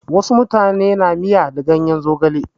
Wasu mutane na miya da ganyen zogale.